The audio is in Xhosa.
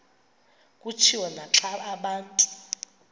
kutshiwo naxa abantu